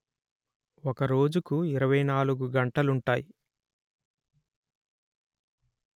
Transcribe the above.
ఒక రోజుకు ఇరవై నాలుగు గంటలుంటాయి